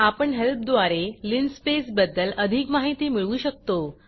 आपण हेल्प द्वारे लाईनस्पेस linspaceलीनस्पेस बद्दल अधिक माहिती मिळवू शकतो